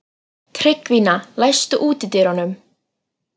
Tryggvína, læstu útidyrunum.